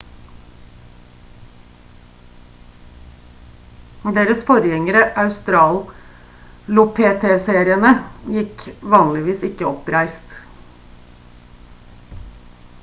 deres forgjengere australopithecinerene gikk vanligvis ikke oppreist